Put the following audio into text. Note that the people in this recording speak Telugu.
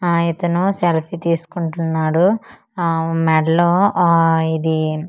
ఆ ఇతను సెల్ఫీ తీస్కుంటున్నాడు ఆమ్ మెడలో ఆ ఇది ఇయర్ ఫోన్ .